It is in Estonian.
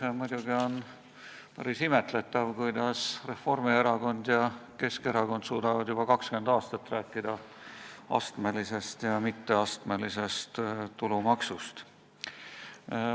See on muidugi päris imetletav, kuidas Reformierakond ja Keskerakond on juba 20 aastat suutnud rääkida astmelisest ja mitteastmelisest tulumaksust.